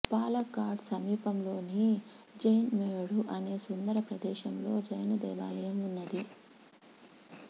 పాలక్కాడ్ సమీపంలోని జైన్మేడు అనే సుందర ప్రదేశంలో జైన దేవాలయం ఉన్నది